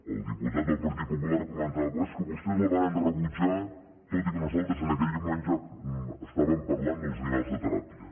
el diputat del partit popular comentava és que vostès la varen rebutjar tot i que nosaltres en aquell moment ja estàvem parlant dels animals de teràpia